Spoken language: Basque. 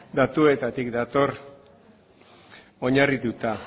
datuetatik dator oinarrituta